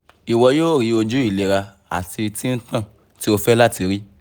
dáwọ́ jíjẹ ẹ̀gẹ́ àkàrà oyin àwọn ajẹ́kẹ́rí àti àwọn obe ọlọ́rọ̀